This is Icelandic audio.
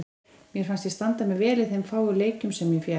Mér fannst ég standa mig vel í þeim fáu leikjum sem ég fékk.